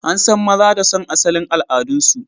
An san maza da son asalin al'adunsu